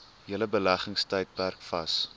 hele beleggingstydperk vas